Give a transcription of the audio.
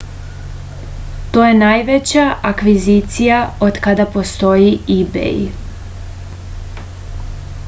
to je najveća akvizicija otkada postoji ibej